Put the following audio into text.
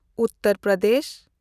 Uttar Pradesh